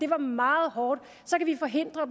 meget hårdt så kan vi forhindre